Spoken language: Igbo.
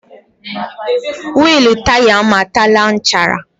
Wịịlụ taya m ataala nchara.